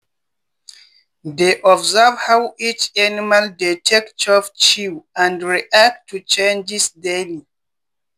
dey observe how each animal dey take chop chew and react to changes daily